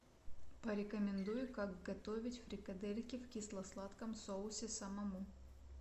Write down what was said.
порекомендуй как готовить фрикадельки в кисло сладком соусе самому